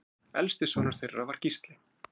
Elsti sonur þeirra var Gísli.